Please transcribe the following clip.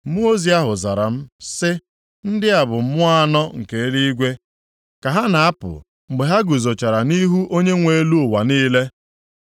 Mmụọ ozi ahụ zara m, sị, “Ndị a bụ mmụọ anọ + 6:5 Maọbụ, ikuku nke eluigwe, ka ha na-apụ mgbe ha guzochara nʼihu Onyenwe elu ụwa niile.